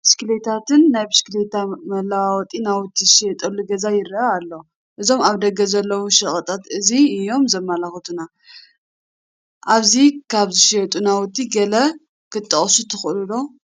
ብሽክሌታታትን ናይ ብሽክሌታ መለዋወጢ ናውትን ዝሽየጡሉ ገዛ ይርአ ኣሎ፡፡ እዞም ኣብ ደገ ዘለዉ ሸቐጣት እዚ እዮም ዘመላኽቱና፡፡ ኣብዚ ካብ ዝሽየጡ ናውቲ ገለ ክትጠቕሱ ትኽእሉ ዶ?